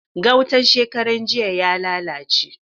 Gautan shekarar jiya ya lalace.